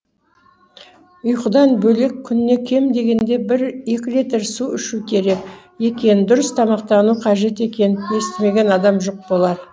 ұйқыдан бөлек күніне кем дегенде бір екі литр су ішу керек екенін дұрыс тамақтану қажет екенін естімеген адам жоқ болар